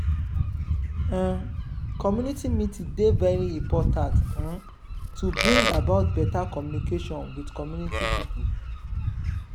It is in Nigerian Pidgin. um community meeting dey very important um to bring about better communication with community pipo